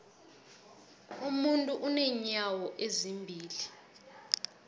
umuntu unenyawo ezimbili